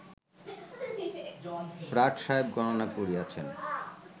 Pratt সাহেব গণনা করিয়াছেন